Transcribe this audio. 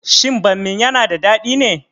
Shin bammin yana da dadi ne?